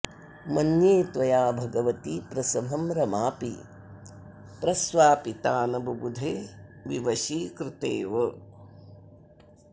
मन्ये त्वया भगवति प्रसभं रमापि प्रस्वापिता न बुबुधे विवशीकृतेव